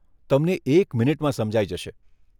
તમને એક મિનિટમાં સમજાઈ જશે.